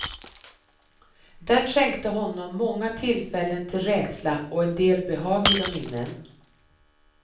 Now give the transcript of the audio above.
Den skänkte honom många tillfällen till rädsla och en del behagliga minnen.